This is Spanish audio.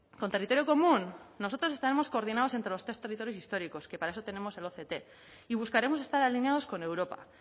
con territorio común nosotros estaremos coordinados entre los tres territorios históricos que para eso tenemos el oct y buscaremos estar alineados con europa